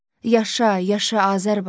Yaşa, yaşa Azərbaycan.